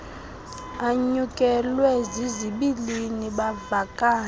anyukelwe zizibilini bavakale